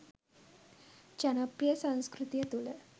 ජනප්‍රිය සංස්කෘතිය තුළ